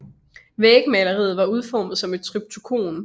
Vægmaleriet var udformet som et triptykon